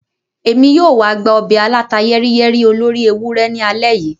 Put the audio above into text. Emi yoo wa gba obe aláta-yẹ́riyẹ́rí olóri ewurẹ ni alẹ́ yìí.